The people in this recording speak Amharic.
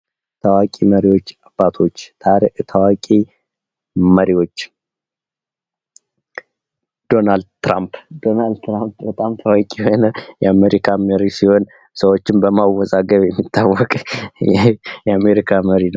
ታዋቂ መሪዎች አባቶች መሪዎች ዶላን ትራምፕ ትራምፕ በጣም ታዋቂ የሆነ የአሜሪካ መሪ ሲሆን ሰዎችን በማወዛገር የሚታወቅ የአሜሪካ መሪ ነው።